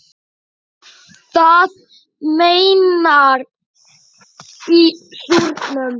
Það meyrnar í súrnum.